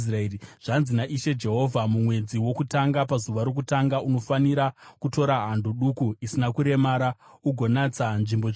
“ ‘Zvanzi naIshe Jehovha: Mumwedzi wokutanga pazuva rokutanga unofanira kutora hando duku isina kuremara ugonatsa nzvimbo tsvene.